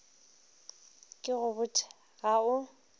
ke go botše ga o